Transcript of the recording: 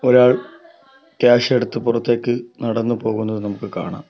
ഒരാൾ ക്യാഷ് എടുത്ത് പുറത്തേക്ക് നടന്നു പോകുന്നത് നമുക്ക് കാണാം.